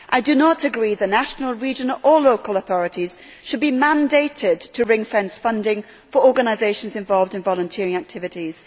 I do not agree that national, regional or local authorities should be mandated to ring fence funding for organisations involved in volunteering activities.